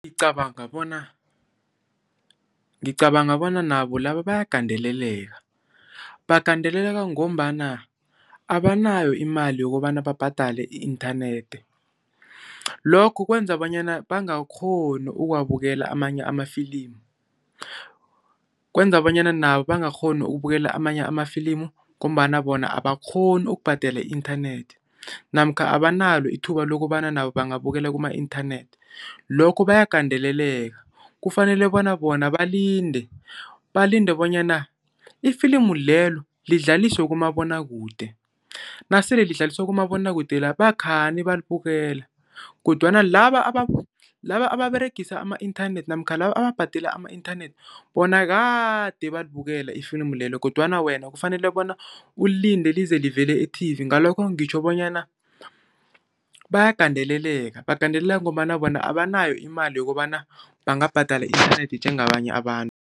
Ngicabanga bona, ngicabanga bona nabo laba bayagandeleleka. Bagandeleleka ngombana abanayo imali yokobana babhadale i-inthanethi. Lokho kwenza bonyana bangakghoni ukuwabukela amanye amafilimu. Kwenza bonyana nabo bangakghoni ukubukela amanye amafilimu ngombana bona abakghoni ukubhadela i-inthanethi namkha abanalo ithuba lokobana nabo bangabukela kuma inthanethi. Lokho bayagandeleleka kufanele bona bonabalinde, balinde bonyana ifilimu lelo lidlaliswe kumabonwakude, nasele lidlaliswa kumabonwakude la bakhani balibukela kodwana laba laba ababeregisa ama-inthanethi namkha laba ababhadela ama-inthanethi bona kade balibukela ifilimu lelo kodwana wena kufanele bona ulinde lize livezwe e-TV. Ngalokho ngitjho bonyana bayagandeleleka, bagandeleleka ngombana bona abanayo imali yokobana bangabhadala i-inthanethi njengabanye abantu.